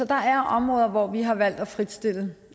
der er områder hvor vi har valgt at fritstille